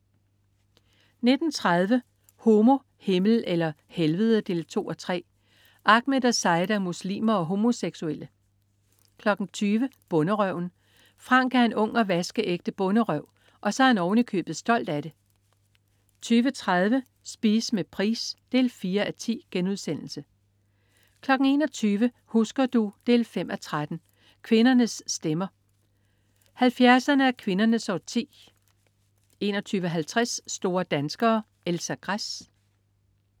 19.30 Homo, Himmel eller Helvede 2:3. Ahmed og Saida er muslimer og homoseksuelle 20.00 Bonderøven. Frank er en ung og vaskeægte bonderøv, og så er han oven i købet stolt af det 20.30 Spise med Price 4:10* 21.00 Husker du? 5:13. Kvindernes stemmer. 70'erne er kvindernes årti 21.50 Store danskere. Elsa Gress